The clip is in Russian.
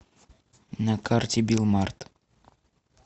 на карте билмарт